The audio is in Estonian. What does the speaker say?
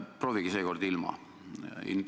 Proovige seekord ilma.